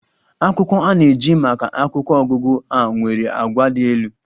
Akwụkwọ a na-eji maka akwụkwọ ọgụgụ a nwere àgwà dị elu.